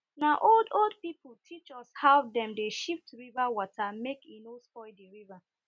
na old old people teach us how dem dey shift river water make e no spoil di river